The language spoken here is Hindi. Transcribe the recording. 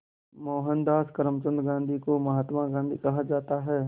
मोहनदास करमचंद गांधी को महात्मा कहा जाता है